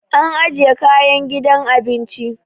an ajiya kayan a gidan abinci